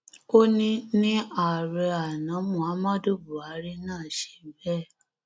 ó ní ní ààrẹ àná muhammadu buhari náà ṣe bẹẹ